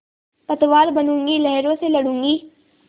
पतवार बनूँगी लहरों से लडूँगी